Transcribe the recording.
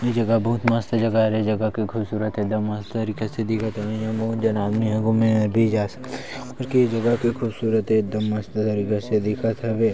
ये जगह बहुत मस्त जगह हरे जगह बहुत खूबसूरत हे एकदम मस्त तरीका से दिखत हवे बहुत झन आदमी ह घूमे बर जा सकथे और ये जगह के खूबसूरत एकदम मस्त तरीका से दिखत हवे।